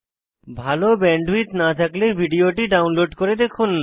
ভাল ব্যান্ডউইডথ না থাকলে ভিডিওটি ডাউনলোড করে দেখুন